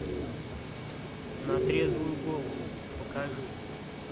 на трезвую голову покажи